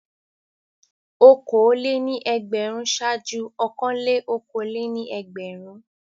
Okòólé-ní-ẹgbẹ̀rún ṣáájú ọ̀kanlé-okòólé-ní-ẹgbẹ̀rún.